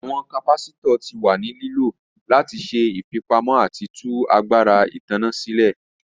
Awọn capacitors ti wa ni lilo lati ṣe ifipamọ ati tu agbara itanna silẹ.